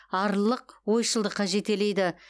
арлылық ойшылдыққа жетелейді